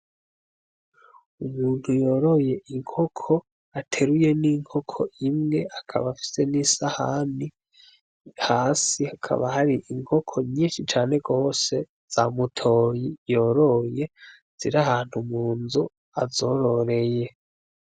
Umuntu yoroye inkoko ateruye n'inkoko imwe akaba afise n'isahani hasi hakaba hari inkoko nyinshi cane rose zamutoyi yoroye zira ahantu mu nzu azororeye.